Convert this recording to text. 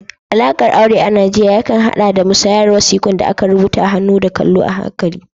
Alaƙar aure a Najeriya yakan haɗa da musayar wasiƙun da aka rubuta da hannu da kallo a hankali